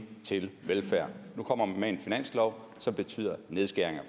til velfærd nu kommer man med en finanslov som betyder nedskæringer